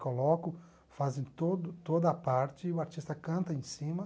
Colocam, fazem todo toda a parte, o artista canta em cima.